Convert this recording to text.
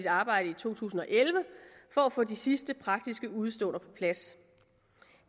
arbejdet i to tusind og elleve for at få de sidste praktiske udeståender på plads